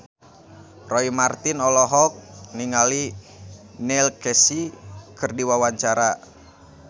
Roy Marten olohok ningali Neil Casey keur diwawancara